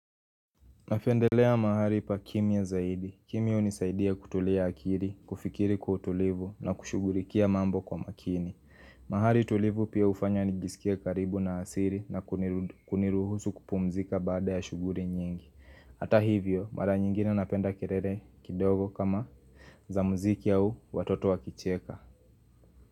Napendelea mahari pa kimya zaidi. Kimya hunisaidia kutulia akiri, kufikiri kwa tulivu na kushughurikia mambo kwa makini. Mahari tulivu pia hufanya nijisikie karibu na asiri na kuniruhusu kupumzika baada ya shuguri nyingi. Hata hivyo, mara nyingine napenda kirere kidogo kama za mziki au watoto wakicheka.